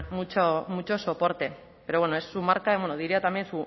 mucho soporte pero bueno es su marca y bueno diría también